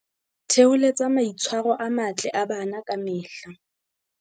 Theholetsa maitshwa ro a matle a bana ka mehla